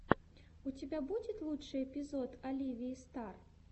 у тебя будет лучший эпизод оливии стар